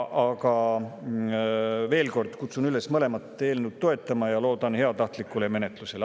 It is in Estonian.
Aga veel kord kutsun üles mõlemat eelnõu toetama ja loodan heatahtlikule menetlusele.